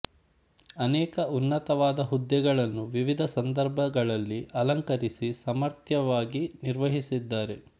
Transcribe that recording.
ಅನೇಕ ಉನ್ನತವಾದ ಹುದ್ದೆಗಳನ್ನು ವಿವಿಧ ಸಂದರ್ಭಗಳಲ್ಲಿ ಅಲಂಕರಿಸಿ ಸಮರ್ಥವಾಗಿ ನಿರ್ವಹಿಸಿದ್ದಾರೆ